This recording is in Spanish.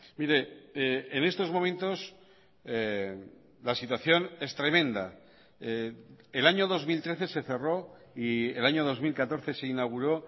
mire en estos momentos la situación es tremenda el año dos mil trece se cerró y el año dos mil catorce se inauguró